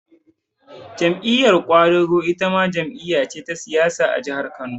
Jam'iyar ƙwadago itama jam'iya ce ta siyasa a Najeriya